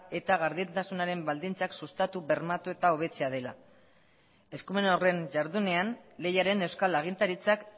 eta gardentasunaren baldintzak sustatu bermatu eta hobetzea dela eskumen horren jardunean lehiaren euskal agintaritzak